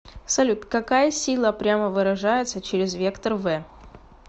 салют какая сила прямо выражается через вектор в